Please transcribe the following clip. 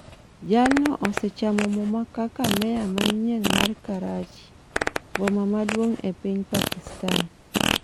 Jatno osechamo muma kaka meya manyien mar Karachi, boma maduong' e piny Pakistan.